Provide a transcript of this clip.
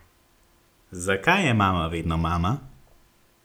Zakaj je mama vedno mama?